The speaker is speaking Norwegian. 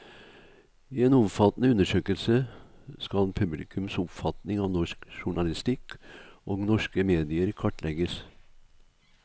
I en omfattende undersøkelse skal publikums oppfatning av norsk journalistikk og norske medier kartlegges.